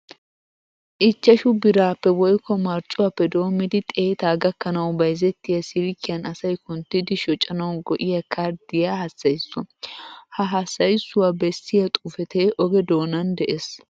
Ichchashu biraappe woykko marccuwappe doommidi xeetaa gakkanawu bayzettiya silkkiyan asay kunttidi shocanawu go''iya karddiya hassayissuwa. Ha hassayissuwa bessiya xuufetee oge doonan de'es.